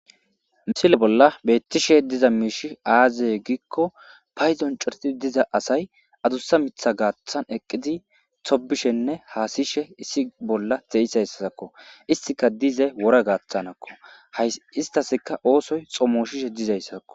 misile bolla beettishe diza miishi aazeye giikko payzon coreti diza asay adussa mitha gaaththan eqqizi tobishenne haasishe issi bolla xeisa ssasakko istika dize wora gaaththanakko hay istaska oosoy xomoshishe dizayssakko